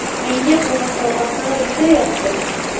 Menga bu musobaqa juda yoqdi.